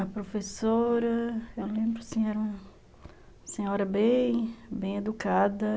A professora, eu lembro assim, era uma senhora bem... bem educada.